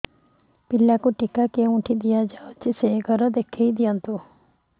ପିଲାକୁ ଟିକା କେଉଁଠି ଦିଆଯାଉଛି ସେ ଘର ଦେଖାଇ ଦିଅନ୍ତୁ